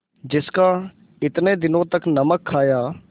जिसका इतने दिनों तक नमक खाया